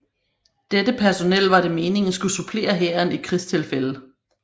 Dette personel var det meningen skulle supplere hæren i krigstilfælde